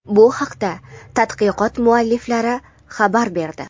Bu haqda tadqiqot mualliflari xabar berdi.